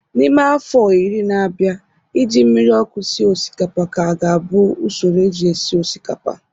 N'ime afọ iri na-abịa, ị ji mmiri ọkụ sịe osikapa kaa ga-abụ usoro eji esi osikapa